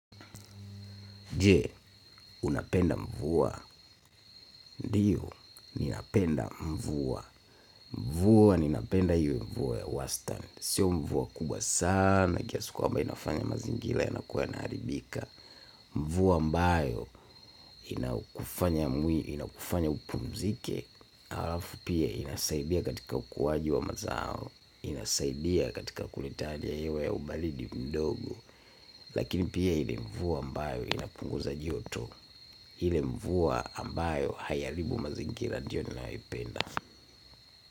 Je, unapenda mvua. Ndiyo, ninapenda mvua. Mvua ninapenda hiyo mvua ya wastani. Sio mvua kubwa sana, kiasi kwamba inafanya mazingira ya nakuwa yana haribika. Mvua ambayo inakufanya upumzike, halafu pia inasaidia katika ukuaji wa mazao, inasaidia katika kulitaja hiyo ya ubaridi mdogo. Lakini pia ile mvua ambayo inapunguza joto ile mvua ambayo hayaharibu mazingira ndio ninayopenda.